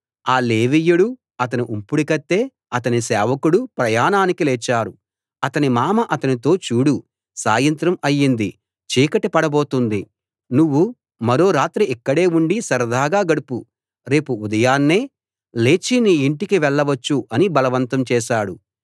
ఆ లేవీయుడూ అతని ఉంపుడుకత్తే అతని సేవకుడూ ప్రయాణానికి లేచారు అతని మామ అతనితో చూడు సాయంత్రం అయింది చీకటి పడబోతోంది నువ్వు మరో రాత్రి ఇక్కడే ఉండి సరదాగా గడుపు రేపు ఉదయాన్నే లేచి నీ ఇంటికి వెళ్ళవచ్చు అని బలవంతం చేశాడు